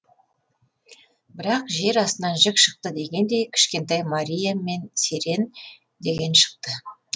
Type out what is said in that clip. бірақ жер астынан жік шықты дегендей кішкентай мария мен серен деген шықты